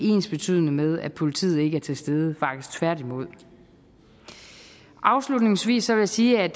ensbetydende med at politiet ikke er til stede faktisk tværtimod afslutningsvis vil jeg sige at